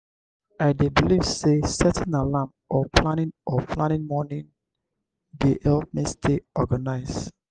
i dey believe say setting alarm or planning or planning morning dey help me stay organized.